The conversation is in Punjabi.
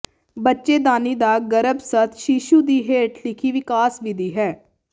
ਬੱਚੇਦਾਨੀ ਦਾ ਗਰੱਭਸਥ ਸ਼ੀਸ਼ੂ ਦੀ ਹੇਠ ਲਿਖੀ ਵਿਕਾਸ ਵਿਧੀ ਹੈ